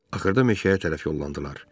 Axırda meşəyə tərəf yollandılar.